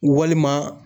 Walima